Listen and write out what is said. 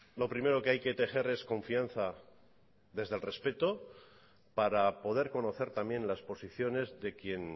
lo primero que hay que tejer es confianza desde el respeto para poder conocer también las posiciones de quien